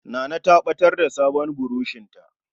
Nana ta ɓatar da sabon burushinta.